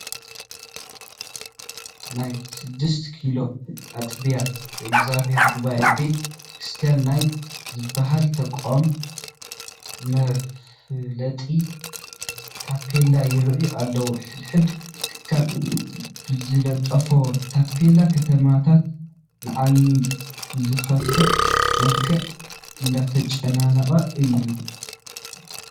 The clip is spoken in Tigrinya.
ናይ ስድስት ኪሎ ኣጥቢያ የእግዚኣብሔር ጉባኤ ቤተ ክርስቲያን ናይ ዝበሃል ተቋም መፋለጢ ታፔላ ይርአ ኣሎ፡፡ ሕድ ሕድ ትካል ብዝልጦፎ ታፔላ ከተማታት ንዓይኒ ብዘኽፍእ መልክዑ እንዳተጨናነቁ እዮም፡፡